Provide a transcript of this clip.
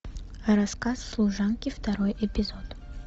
рассказ служанки второй эпизод